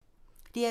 DR2